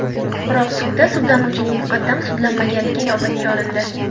Biroq, sudda sudlanuvchining muqaddam sudlanmaganligi inobatga olindi.